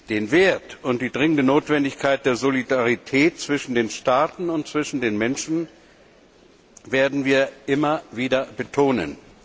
Den Wert und die dringende Notwendigkeit der Solidarität zwischen den Staaten und zwischen den Menschen werden wir immer wieder betonen.